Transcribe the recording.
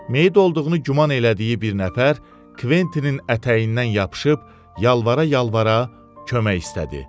Meyit olduğunu güman elədiyi bir nəfər Kventinin ətəyindən yapışıb yalvara-yalvara kömək istədi.